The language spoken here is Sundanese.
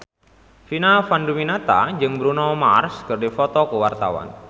Vina Panduwinata jeung Bruno Mars keur dipoto ku wartawan